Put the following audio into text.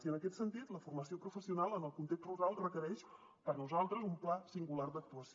i en aquest sentit la formació professional en el context rural requereix per nosaltres un pla singular d’actuació